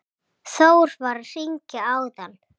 Þór var að hringja áðan.